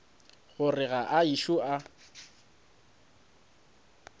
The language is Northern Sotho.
gore ga a ešo a